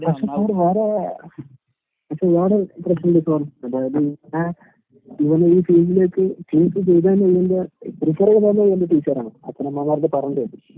പക്ഷെ അവടെ വേറേ എന്നെച്ചാ വേറെ പ്രശ്നിണ്ടിപ്പോ, അതായത് ഏഹ്, ഇവനെയീ ഫീൽഡിലേക്ക് ചൂസ് ചെയ്തതന്നെ ഇവന്റെ പ്രീഫെറെയ്‌തന്നെ ഇവന്റെ ടീച്ചറാണ്, അച്ഛനമ്മമാരോട് പറഞ്ഞേപ്പിച്ച്.